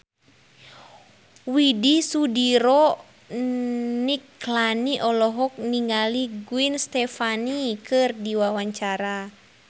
Widy Soediro Nichlany olohok ningali Gwen Stefani keur diwawancara